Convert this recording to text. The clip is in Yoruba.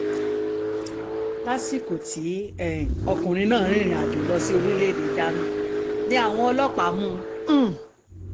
lásìkò tí um ọkùnrin náà ń rin ìrìnàjò lọ sí orílẹ̀‐èdè germany ni àwọn ọlọ́pàá mú un um